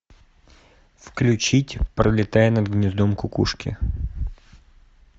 включить пролетая над гнездом кукушки